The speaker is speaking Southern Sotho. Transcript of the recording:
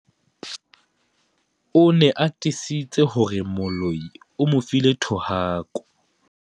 O ne a tiisitse hore moloi o mo file thohako.